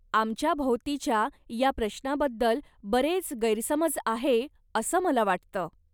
आमच्याभोवतीच्या या प्रश्नाबद्दल बरेच गैरसमज आहे असं मला वाटतं.